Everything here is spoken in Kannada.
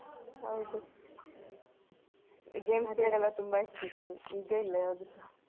ಹೌದು game period ಎಲ್ಲ ತುಂಬಾ ಇರ್ತಿತ್ತು ಈಗ ಇಲ್ಲ ಯಾವ್ದೂಸ.